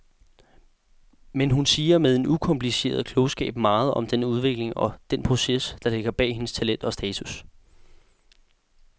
Men hun siger med en ukompliceret klogskab meget om den udvikling og den proces, der ligger bag hendes talent og status.